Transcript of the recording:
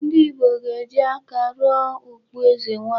Ndị Ìgbo ga-eji aka rụọ okpu eze nwanyị.